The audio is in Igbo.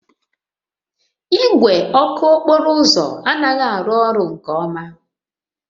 Igwe ọkụ okporo ụzọ anaghị arụ ọrụ nke ọma